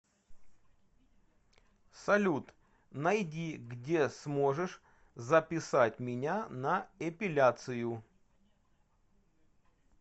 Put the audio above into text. салют найди где сможешь записать меня на эпиляцию